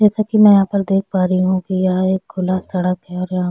जैसा की मैं यहाँ पर देख पा रही हु की यह एक खुला सड़क है और यहाँ--